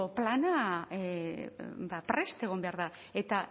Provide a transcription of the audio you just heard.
plana prest egon behar da eta